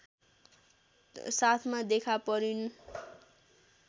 साथमा देखा परिन्